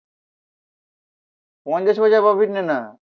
পঞ্চাশ পয়সা প্রফিট নে না